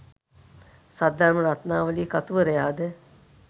Saddharma Ratnavali කතුවරයාද